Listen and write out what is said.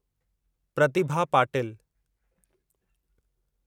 Pratibha Patil